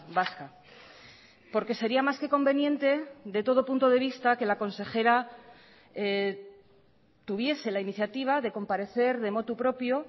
vasca porque sería más que conveniente de todo punto de vista que la consejera tuviese la iniciativa de comparecer de motu propio